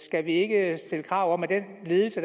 skal vi ikke stille krav om at den ledelse